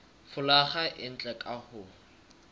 folaga e ntle ka ho